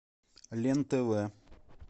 лен тв